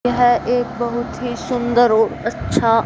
यह एक बहुत ही सुंदर और अच्छा--